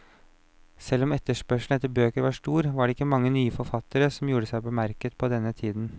Selv om etterspørselen etter bøker var stor, var det ikke mange nye forfattere som gjorde seg bemerket på denne tiden.